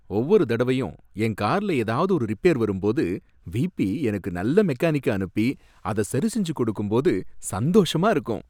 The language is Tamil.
ஒவ்வொரு தடவையும் என் கார்ல ஏதாவது ஒரு ரிப்பேர் வரும்போது விபி எனக்கு நல்ல மெக்கானிக்க அனுப்பி அத சரி செஞ்சு கொடுக்கும்போது சந்தோஷமா இருக்கும்.